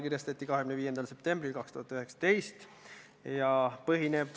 Milliste gruppidega majandusministeerium on suhelnud, selle kohta minul andmed puuduvad.